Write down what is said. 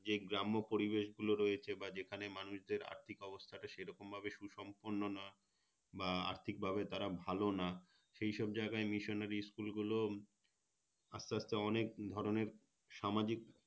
যে গ্রাম্য পরিবেশ গুলো রয়েছে বা যেখানে মানুষদের আর্থিক অবস্থাটা সেরকমভাবে সুসম্পন্ন নয় বা আর্থিকভাবে তারা ভালো না সেই সব জায়গায় Missionary School গুলো আস্তে আস্তে অনেক ধরণের সামাজিক